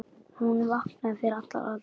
Hún vaknaði fyrir allar aldir.